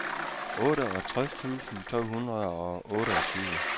otteogtres tusind to hundrede og otteogtyve